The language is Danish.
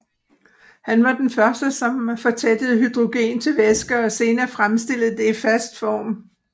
Han var den første som fortættede hydrogen til væske og senere fremstillede det i fast form